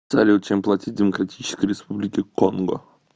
салют чем платить в демократической республике конго